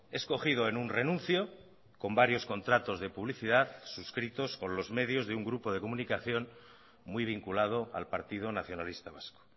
es cogido en un renuncio con varios contratos de publicidad suscritos con los medios de un grupo de comunicación muy vinculado al partido nacionalista vasco